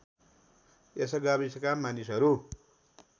यस गाविसका मानिसहरू